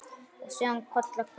Og síðan koll af kolli.